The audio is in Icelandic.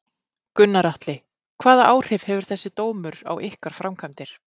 Gunnar Atli: Hvaða áhrif hefur þessi dómur á ykkar framkvæmdir?